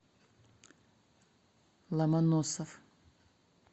ломоносов